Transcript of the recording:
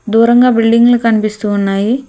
దూరంగా బిల్డింగ్ లు ని కనిపిస్తూ ఉన్నాయి.